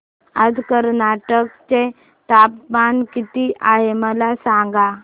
आज कर्नाटक चे तापमान किती आहे मला सांगा